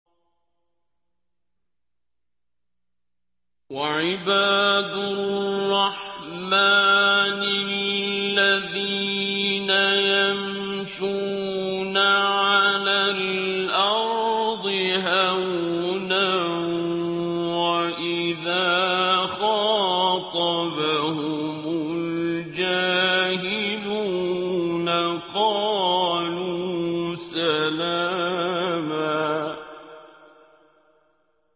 وَعِبَادُ الرَّحْمَٰنِ الَّذِينَ يَمْشُونَ عَلَى الْأَرْضِ هَوْنًا وَإِذَا خَاطَبَهُمُ الْجَاهِلُونَ قَالُوا سَلَامًا